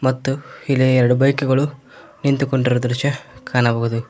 ಮತ್ತು ಇಲ್ಲಿ ಎರಡು ಬೈಕ್ ಗಳು ನಿಂತುಕೊಂಡಿರುವ ದೃಶ್ಯ ಕಾಣಬಹುದು.